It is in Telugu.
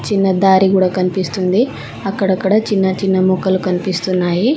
చిన్న దారి కూడా కనిపిస్తుంది అక్కడక్కడ చిన్నచిన్న మొక్కలు కనిపిస్తున్నాయి.